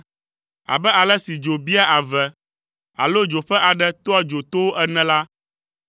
Abe ale si dzo biaa ave, alo dzo ƒe aɖe tɔa dzo towo ene la,